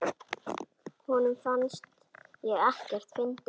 Honum fannst ég ekkert fyndin.